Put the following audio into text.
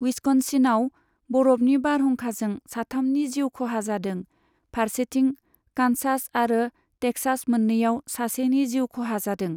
विस्कन्सिनआव, बरफनि बारहुंखाजों साथामनि जिउ खहा जादों, फारसेथिं कान्सास आरो टेक्सास मोन्नैयाव सासेनि जिउ खहा जादों।